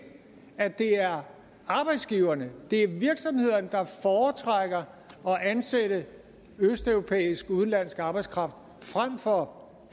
at det er arbejdsgiverne virksomhederne der foretrækker at ansætte østeuropæisk arbejdskraft frem for